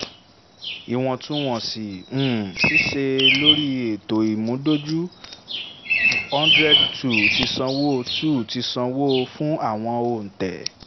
ìwọ̀ntún wọ̀nsì um ṣíṣe lórí ètò ìmúdójú hundred two ti sanwó two ti sanwó fún àwọn òǹtẹ̀